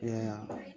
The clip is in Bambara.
Yan